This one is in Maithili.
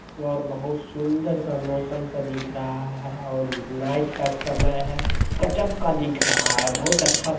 और बहुत सुन्दर सा मौसम सा दिख रहा है और नाईट का समय है गजब का दिख रहा है बहुत अच्छा दि --